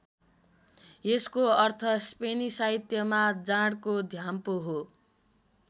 यसको अर्थ स्पेनी साहित्यमा जाँडको घ्याम्पो हो।